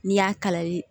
N'i y'a kalali